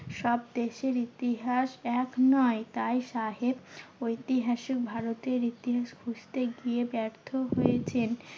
সব দেশের ইতিহাস এক নয়। তাই সাহেব ঐতিহাসিক ভারতের ইতিহাস খুঁজতে গিয়ে ব্যর্থ হয়েছেন।